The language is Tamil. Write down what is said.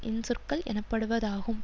இன்சொற்கள் எனப்படுவதாகும்